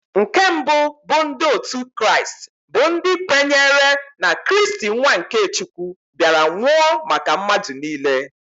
Nke mbụ bụ ndị otu Kraịst bụ ndị kwenyere na Kristi nwa nke Chukwu bịara nwụọ maka mmadụ niile.